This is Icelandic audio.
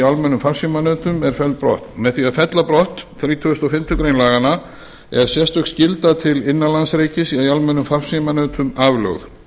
almennum farsímanetum er felld brott með því að fella brott þrítugasta og fimmtu grein laganna er sérstök skylda til innanlandsreikis í almennum farsímanetum aflögð